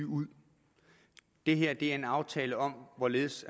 ud det her er en aftale om hvorledes